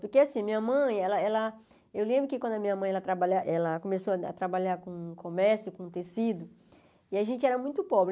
Porque assim, minha mãe, ela ela eu lembro que quando a minha mãe começou a trabalhar com comércio, com tecido, e a gente era muito pobre.